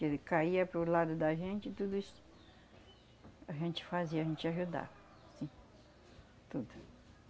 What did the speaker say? caía para o lado da gente e tudo isso, a gente fazia, a gente ajudava, sim, tudo.